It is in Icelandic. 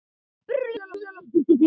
Þín dóttir, Linda Rós.